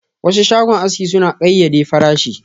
Wasu shagon aski suna da kayyade farashin.